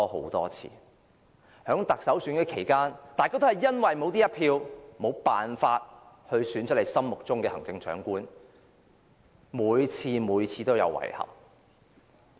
在多次特首選舉期間，大家都因為沒有這一票，無法選出心儀的行政長官，每次都感到遺憾。